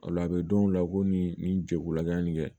Ola a be dɔn o la ko nin nin jɛkulula yan nin kɛ